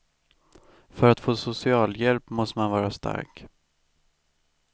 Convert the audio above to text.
För att få socialhjälp måste man vara stark.